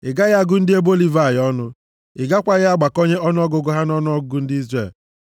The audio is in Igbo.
“Ị gaghị agụ ndị ebo Livayị ọnụ. Ị gakwaghị agbakọnye ọnụọgụgụ ha nʼọnụọgụgụ ndị Izrel.